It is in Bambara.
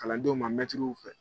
Kalandenw ma mɛtiriw fɛ.